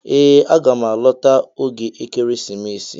Ee aga m alọta oge ekeresimesi